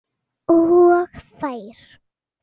Og þær.